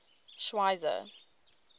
schweizer